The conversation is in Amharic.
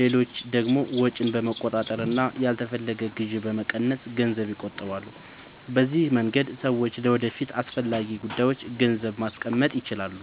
ሌሎች ደግሞ ወጪን በመቆጣጠር እና ያልተፈለገ ግዢ በመቀነስ ገንዘብ ይቆጥባሉ። በዚህ መንገድ ሰዎች ለወደፊት አስፈላጊ ጉዳዮች ገንዘብ ማስቀመጥ ይችላሉ።